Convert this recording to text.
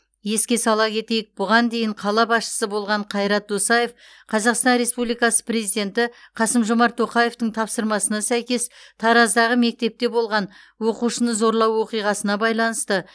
еске сала кетейік бұған дейін қала басшысы болған қайрат досаев қазақстан республикасы президенті қасым жомарт тоқаевтың тапсырмасына сәйкес тараздағы мектепте болған оқушыны зорлау оқиғасына байланысты